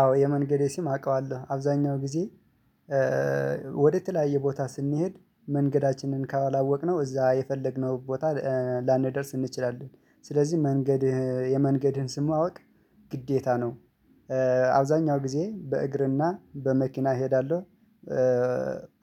አዎ የመንገዴ ስም አውቀዋለሁ አብዛኛው ጊዜ ወደ ተለያየ ቦታ ስንሄድ መንገዳችንን ካወላወቅነው እዛ የፈለግነው ቦታ ላንደርስ እንችላለን። ስለዚህ መንገድ የመንገድህን ስም ማወቅ ግዴታ ነው። አብዛኛው ጊዜ በእግርና በመኪና እሄዳለሁ።